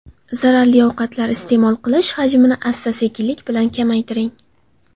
Zararli ovqatlar iste’mol qilish hajmini asta-sekinlik bilan kamaytiring.